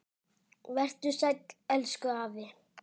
Vertu sæll, elsku afi.